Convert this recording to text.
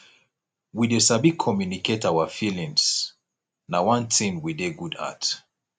we dey sabi communicate our feelings na one thing we dey good at